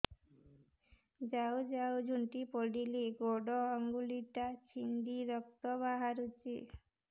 ଯାଉ ଯାଉ ଝୁଣ୍ଟି ପଡ଼ିଲି ଗୋଡ଼ ଆଂଗୁଳିଟା ଛିଣ୍ଡି ରକ୍ତ ବାହାରୁଚି